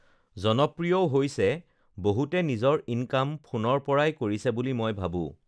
জনপ্ৰিয়ও হৈছে বহুতে নিজৰ ইনকাম ফোনৰ পৰাই কৰিছে বুলি মই ভাবোঁ